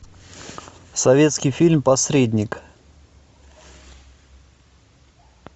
советский фильм посредник